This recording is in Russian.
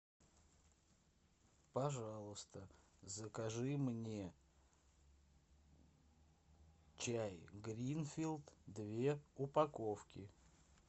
пожалуйста закажи мне чай гринфилд две упаковки